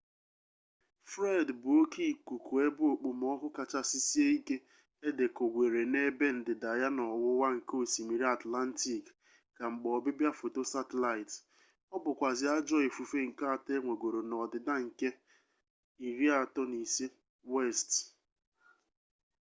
fred bu oke ikuku ebe okpomọkụ kachasi sie ike edekogwere n’ebe ndida ya n’owuwa nke osmiri atllantic ka mgbe obibia foto satilaiti o bukwazi ajo ifufe nke ato enwegoro n’odida nke 35°w